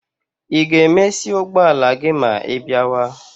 Ị ga-emesi ụgbọala gị ma ịbiawa?